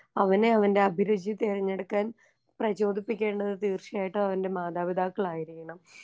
അവനെ അവന്റെ അഭിരുചി തിരഞ്ഞെടുക്കാൻ പ്രചോദിപ്പിക്കേണ്ടത് തീർച്ചയായിട്ടും അവൻറെ മാതാപിതാക്കളായിരിക്കണം.